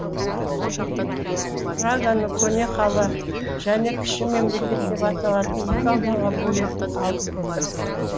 праганы көне қала және кіші мемлекет деп аталатын екі ауданға бөлетін алып көпір